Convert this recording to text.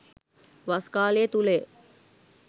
වස් කාලය තුළ ය